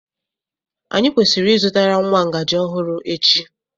Anyị kwesịrị ịzụtara nwa ngaji ọhụrụ echi.